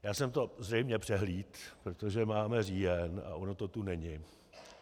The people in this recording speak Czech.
Já jsem to zřejmě přehlédl, protože máme říjen a ono to tu není.